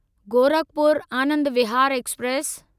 Gorakhpur Anand Vihar express